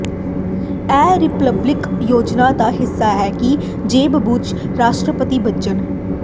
ਇਹ ਰਿਪਬਲਿਕਨ ਯੋਜਨਾ ਦਾ ਹਿੱਸਾ ਹੈ ਕਿ ਜੇਬ ਬੁਸ਼ ਰਾਸ਼ਟਰਪਤੀ ਬਣਨ